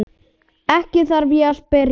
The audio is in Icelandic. Ekki þarf ég að spyrja.